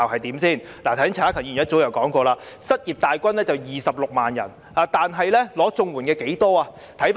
剛才陳克勤議員已提到，失業大軍有26萬人，但領取綜援的有多少人？